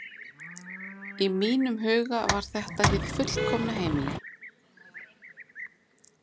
Í mínum huga var þetta hið fullkomna heimili.